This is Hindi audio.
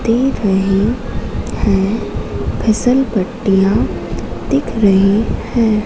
देख रहे हैं फिसलपट्टियां दिख रही हैं।